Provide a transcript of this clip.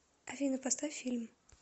афина поставь фильм